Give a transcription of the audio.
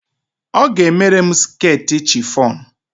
Ọ ga-emere m sketi chifon.